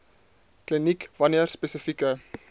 kliniek wanneer spesifieke